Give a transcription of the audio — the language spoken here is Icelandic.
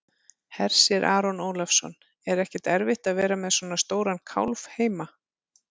Hersir Aron Ólafsson: Er ekkert erfitt að vera með svona stóran kálf heima?